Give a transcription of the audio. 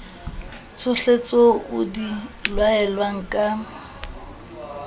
tsohletseo o di laelwang ka